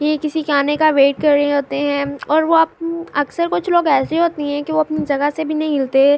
یہ کسی کے آنے کا وائٹ کر رہے ہے اور وو اکثر کچھ لوگ السی ہوتے ہے کی وو اپنی جگہ سے بھی نہیں ہلتے--